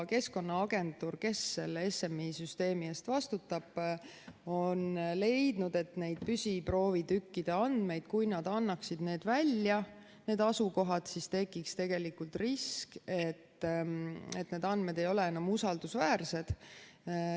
Keskkonnaagentuur, kes selle SMI süsteemi eest vastutab, on leidnud, et nende püsiproovitükkide andmete puhul, kui nad annaksid need asukohad välja, tekiks risk, et need andmed ei ole enam usaldusväärsed.